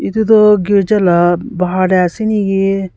itu duh girja lah bahar teh ase naki--